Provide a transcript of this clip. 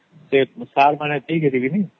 ସାର ମେ ସେଇଗଣୀ ତା